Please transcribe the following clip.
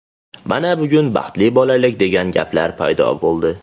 Mana, bugun baxtli bolalik degan gaplar paydo bo‘ldi.